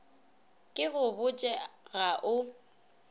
ke go botše ga o